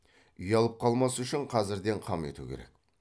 ұялып қалмас үшін қазірден қам ету керек